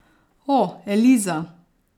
O, Eliza.